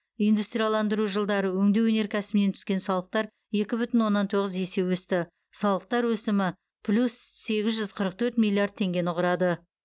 индустрияландыру жылдары өңдеу өнеркәсібінен түскен салықтар екі бүтін оннан тоғыз есе өсті салықтар өсімі плюс сегіз жүз қырық төрт миллиард теңгені құрады